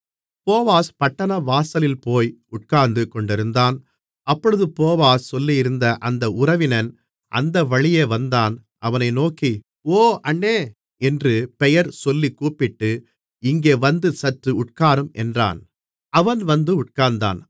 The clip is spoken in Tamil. போவாஸ் பட்டணவாசலில் போய் உட்கார்ந்து கொண்டிருந்தான் அப்பொழுது போவாஸ் சொல்லியிருந்த அந்த உறவினன் அந்த வழியே வந்தான் அவனை நோக்கி ஓ அண்ணே என்று பெயர் சொல்லிக் கூப்பிட்டு இங்கே வந்து சற்று உட்காரும் என்றான் அவன் வந்து உட்கார்ந்தான்